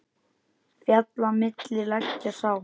Fjalla milli liggja sá.